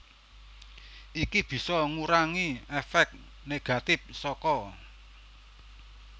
Iki bisa ngurangi èfék negatif saka